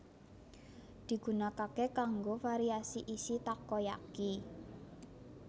Digunakake kanggo variasi isi takoyaki